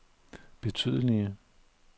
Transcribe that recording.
betydelige